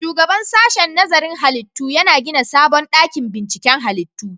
Shugaban sashen nazarin halittu yana gina sabon dakin binciken halittu